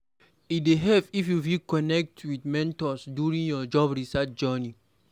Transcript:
E go help if you fit connect with mentors during your job search journey.